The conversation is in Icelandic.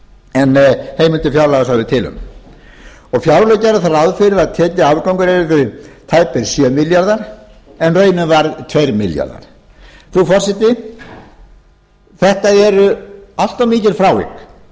en heimildir fjárlaga sögðu til um fjárlög gerðu þá ráð fyrir að tekjuafgangur yrði tæpir sjö milljarðar króna en raunin varð tveir milljarðar króna frú forseti þetta eru allt of mikil frávik